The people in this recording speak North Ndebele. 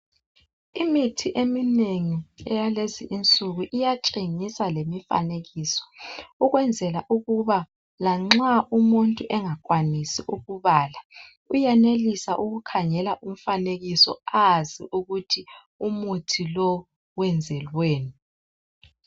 Imithi eminengi eyalezi insuku iyatshengisa lemifanekiso ukwenzela ukuba lanxa umuntu engakwanisi ukubala .Uyenelisa ukukhangela umfanekiso azi ukuthi umuthi lowu wenzelweni